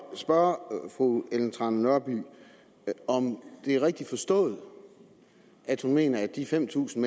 spørge fru ellen trane nørby om det er rigtigt forstået at hun mener at de fem tusind